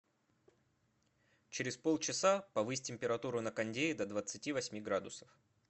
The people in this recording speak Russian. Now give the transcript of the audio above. через полчаса повысь температуру на кондее до двадцати восьми градусов